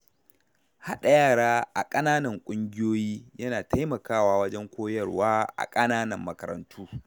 Haɗa yara a ƙananan ƙungiyoyi yana taimakawa wajen koyarwa a ƙananan makarantu.